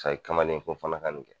Tari kamalen fo n fana ka nin kɛ